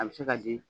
A bɛ se ka di